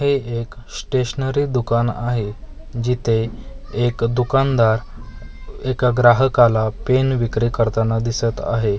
हे एक स्टेशनरी दुकान आहे जिथे एक दुकानदार एका ग्राहकाला पेन विक्री करताना दिसत आहे.